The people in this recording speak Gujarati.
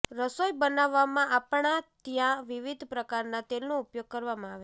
રસોઈ બનાવવામાં આપણા ત્યાં વિવિધ પ્રકારના તેલનો ઉપયોગ કરવામાં આવે છે